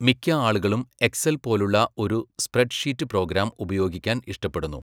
മിക്ക ആളുകളും എക്സൽ പോലുള്ള ഒരു സ്പ്രെഡ്ഷീറ്റ് പ്രോഗ്രാം ഉപയോഗിക്കാൻ ഇഷ്ടപ്പെടുന്നു.